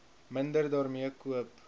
minder daarmee koop